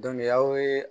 aw ye